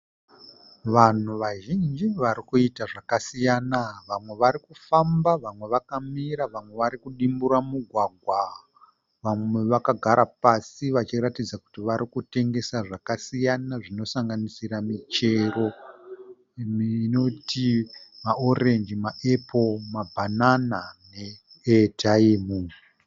Vanhu vazhinji vari kuita zvakasiyana. Vamwe varikufamba, vamwe vakamira, vamwe varikudimbura mugwagwa. Vamwe vakagara pasi vachiratidza kuti varikutengesa zvakasiyana zvinosanganisira michero inoti maorenji, maepuro, mabhanana neeyataimu.